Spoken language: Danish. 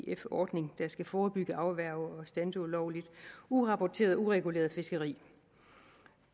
ef ordning der skal forebygge afværge og standse ulovligt urapporteret ureguleret fiskeri